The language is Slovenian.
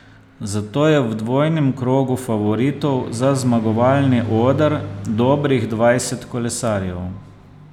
Zato je v dvojnem krogu favoritov za zmagovalni oder dobrih dvajset kolesarjev.